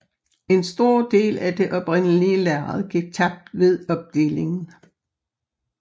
En stor del af det oprindelige lærred gik tabt ved opdelingen